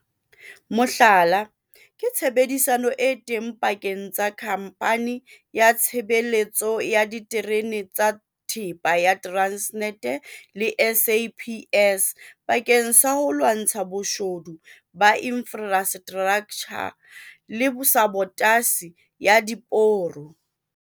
Mohlala ke tshebedisano e teng pakeng tsa Khamphani ya Tshebeletso ya Diterene tsa Thepa ya Transnet le SAPS bakeng sa ho lwantsha boshodu ba infrastraktjha le sabotasi ya diporo.